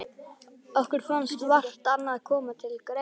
Okkur fannst vart annað koma til greina.